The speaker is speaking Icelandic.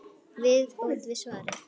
Viðbót við svarið